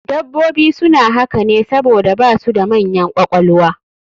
Dabbobi suna haka ne saboda su basu da manyan ƙwaƙwalwa